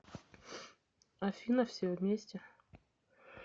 афина все вместе